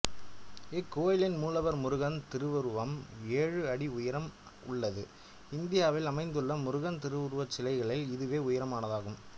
இக்கோயிலின் மூலவர் முருகன் திருவுருவம் ஏழு அடி உயரம் உள்ளது இந்தியாவில் அமைந்துள்ள முருகன் திருவுருவச்சிலைகளில் இதுவே உயரமானதாகும்